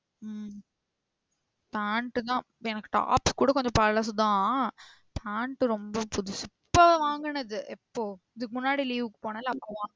ம பெண்ட்டுதான் எனக்கு டாப் கூட கொஞ்சம் பழசுதான். பேண்ட்டு ரொம்ப புதுசு இப்போ வாங்கினது எப்போ இதுக்கு முன்னாடி leave க்கு போனேன்ல அப்போ வாங்குன